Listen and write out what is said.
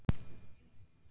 Við gerðum það ekki.